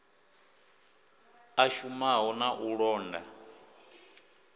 a shumaho na u londa